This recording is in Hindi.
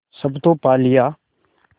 सब तो पा लिया